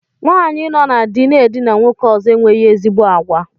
Nwaanyi nọ na dị na-edina nwoke ọzọ enweghị ezigbo àgwà.